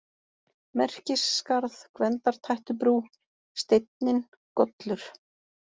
Merkisskarð, Gvendartættubrú, Steinninn, Gollur